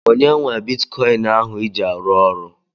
Onye nwe bitikọin ahụ iji arụ ọrụ?